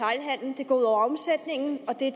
det går ud over omsætningen og det